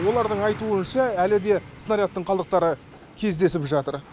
олардың айтуынша әлі де снарядтың қалдықтары кездесіп жатыр